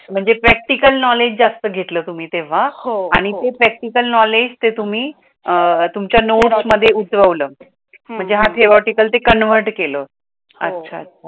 म्हणजे practical knowledge जासत गेतला तुम्ही तेव्हा, आणि ते प्रॅक्टिकल नोलेज तुम्ही अह तुमच्य नोट्स मध्ये उतरवलं, माहणज theoretical तुम्ह convert केल, अच्छा अच्छा